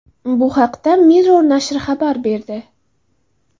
Bu haqda Mirror nashri xabar berdi .